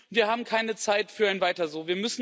Wir haben keine Zeit für ein Weiter so.